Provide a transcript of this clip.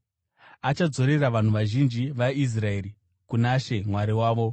Achadzorera vanhu vazhinji vaIsraeri kuna She Mwari wavo.